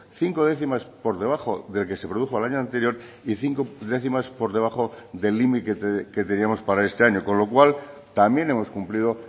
cinco décimas por debajo del que se produjo el año anterior y cinco décimas por debajo del límite que teníamos para este año con lo cual también hemos cumplido